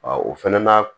o fɛnɛ na